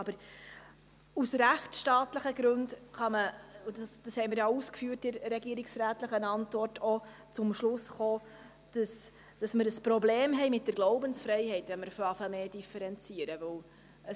Aus rechtstaatlichen Gründen – das haben wir in der regierungsrätlichen Antwort ausgeführt – kann man auch zum Schluss kommen, dass wir ein Problem mit der Glaubensfreiheit haben, wenn wir stärker zu differenzieren beginnen.